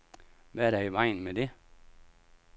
Hvad er der i vejen med det?